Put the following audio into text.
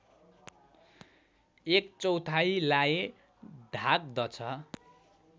एक चौथाइलाई ढाक्दछ